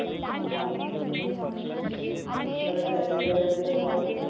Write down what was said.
ਕਦੇ ਕਦੇ ਕੁਛ